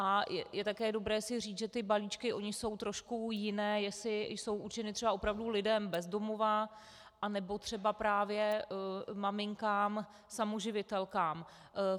A je také dobré si říct, že ty balíčky jsou trošku jiné, jestli jsou určeny třeba opravdu lidem bez domova, anebo třeba právě maminkám samoživitelkám.